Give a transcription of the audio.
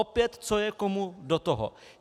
Opět, co je komu do toho?